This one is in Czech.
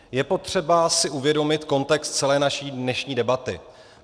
Je potřeba si uvědomit kontext celé naší dnešní debaty.